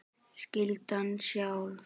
Skyldan sjálf